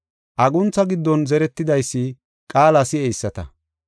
Aguntha giddon zeretidaysi qaala si7eyisata.